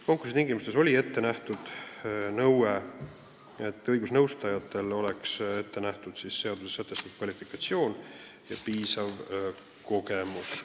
Konkursi tingimustes oli ette nähtud nõue, et õigusnõustajatel oleks ette nähtud seaduses sätestatud kvalifikatsioon ja piisav kogemus.